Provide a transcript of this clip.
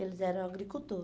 Eles eram agricultor.